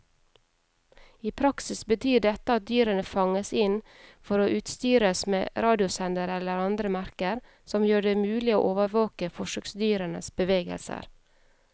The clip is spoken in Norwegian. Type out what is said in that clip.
I praksis betyr dette at dyrene fanges inn for å utstyres med radiosendere eller andre merker som gjør det mulig å overvåke forsøksdyrenes bevegelser.